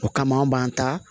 O kama anw b'an ta